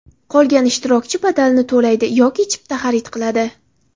Qolganlar ishtirokchi badalini to‘laydi yoki chipta xarid qiladi.